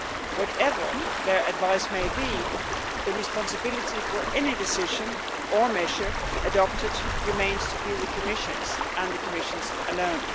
Whatever their advice may be, the responsibility for any decision or measure adopted remains the Commission's and the Commission's alone.